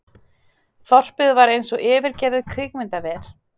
Þorpið var eins og yfirgefið kvikmyndaver.